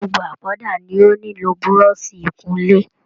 Gbogbo apoda ni o nílò buroṣi ikunle.